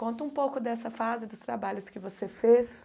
Conta um pouco dessa fase dos trabalhos que você fez.